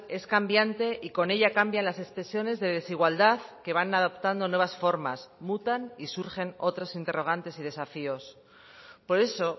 es cambiante y con ella cambian las expresiones de desigualdad que van adaptando nuevas formas mutan y surgen otros interrogantes y desafíos por eso